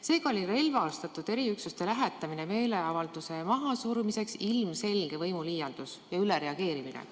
Seega oli relvastatud eriüksuste lähetamine meeleavalduse mahasurumiseks ilmselge võimuliialdus ja ülereageerimine.